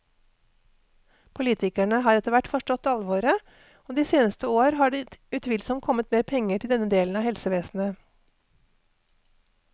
Politikerne har etter hvert forstått alvoret, og de seneste år har det utvilsomt kommet mer penger til denne delen av helsevesenet.